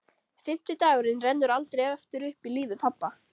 Fimmti dagurinn rennur aldrei aftur upp í lífi pabba.